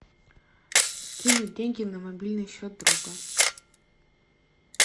скинуть деньги на мобильный счет друга